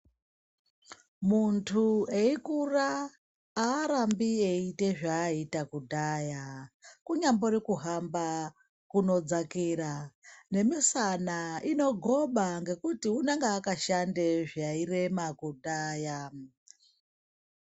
Antu eikura haarambi eiita zvaaiita kudhaya kunyambori kuhamba kunodzakira nemisana inogoba ngekuti unenge akashande zvairema kudhaya.